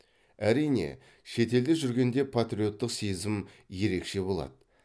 әрине шетелде жүргенде патриоттық сезім ерекше болады